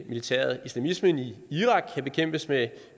militæret islamismen i irak kan bekæmpes med